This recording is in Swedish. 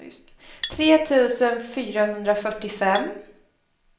tre tusen fyrahundrafyrtiofem